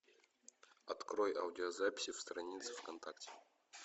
открой аудиозаписи в странице в контакте